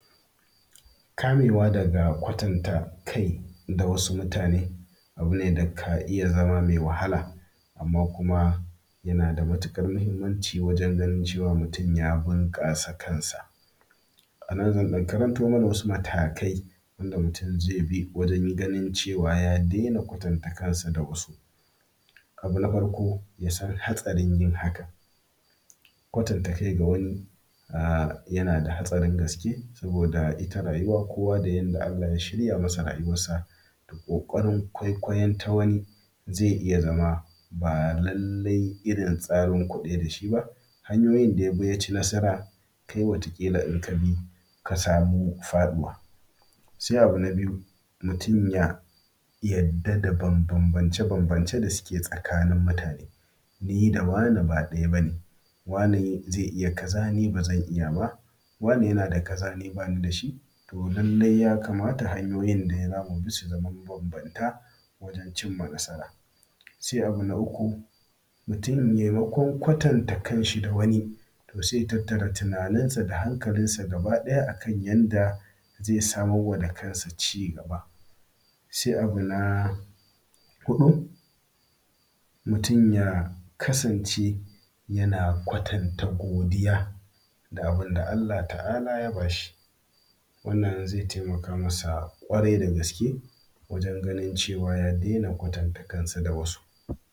Kamewa da kwatanta kai da wasu mutane abune da ka iya zama mai wahala. Amma kuma yanada matukar muhimmanci, wurin ganin cewa mutum ya bunƙasa kansa. Anan zan ɗan karantomana wasu matakai, wanda mutum zaibi wajen ganin, cewa ya daina kwatanta kansa da wasu. Abu na farko, yasan hatsarin yin hakan, kwatanta kai da wani ah yanada hatsarin gaske. Saboda ita rayuwa kowa da yanda Allah ya shirya masa rayuwarsa. Ƙokarin kwaikwayon ta wani zai iyazama ba lallai irin tsarin ku ɗaya da shiba. Hanyoyin dayabi yaci nasara, kai wata kila in kabi kasamu faɗuwa. Se abu na biyu, mutum ya yarda da banbanbance banbancen da ke tsakanin mutane. Nida wane ba ɗaya bane, wane ze iya kaza nib azan iyaba, wane yanada kaza ni banidashi. To lallai yakama hanyoyin dayawa mubisu da ma banbanta, wajen cimma nasara. Se abu na uku, mutum me makon kwatanta kanshi da wani, to seya tattaba tunaninsa da hankalinsa, gaba ɗaya akan yanda ze samarwa da kansa cigaba. Se abu na huɗu mutum ya kasance, yana kwatanta godiya da abinda Allah ta’ala ya bashi. Wannan zai taimaka masa kwarai da gaske, wajen ganin cewa ya daina kwatanta kansa da wasu.